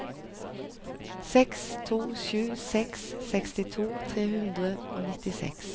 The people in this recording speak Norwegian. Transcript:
seks to sju seks sekstito tre hundre og nittiseks